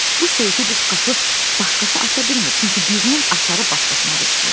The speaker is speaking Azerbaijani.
Bu seyfi, bu şkafı başqası aça bilmir, çünki birinin açarı başqasına düşmür.